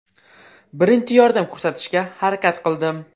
Birinchi yordam ko‘rsatishga harakat qildim.